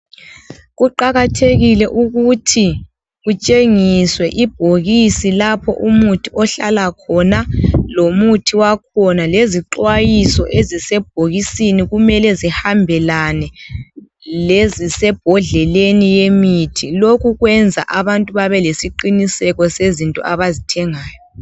Kuqakathekile ukuthi kutshengiswe ibhokisi lapha umuthi okuhlala khona lomuthi wakhona. Lezixwayiso ezisebhodleleni kumele zihambelane lezisebhokisini lomuthi. Lokhu kwenza abantu babe lesiqiniseko lezinto abazithengayo.